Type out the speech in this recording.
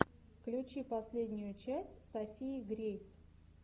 включи последнюю часть софии грейс